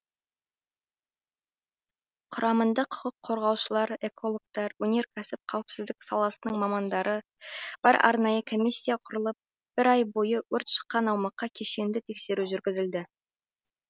құрамында құқық қорғаушылар экологтар өнеркәсіп қауіпсіздік саласының мамандары бар арнайы комиссия құрылып бір ай бойы өрт шыққан аумаққа кешенді тексеру жүргізілді